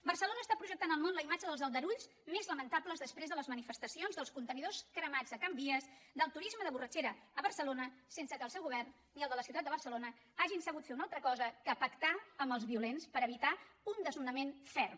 barcelona està projectant al món la imatge dels aldarulls més lamentables després de les manifestacions dels contenidors cremats de can vies del turisme de borratxera a barcelona sense que el seu govern ni el de la ciutat de barcelona hagin sabut fer una altra cosa que pactar amb els violents per evitar un desnonament ferm